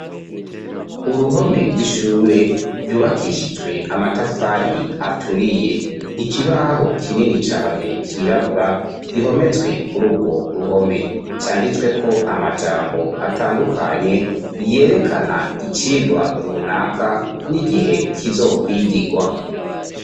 Uruhome rw'ishure ryubakishijwe amatafari aturiye, ikibaho kinini cane cirabura gihometswe kuri urwo ruhome canditsweko amajambo atandukanye yerekana icigwa runaka n'igihe kizokwigirwa.